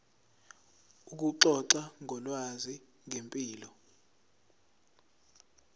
ukuxoxa ngolwazi ngempilo